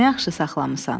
Nə yaxşı saxlamısan.